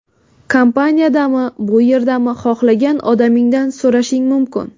Kompaniyadami, bu yerdami, xohlagan odamingdan so‘rashing mumkin.